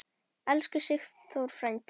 Elsku Sigþór frændi.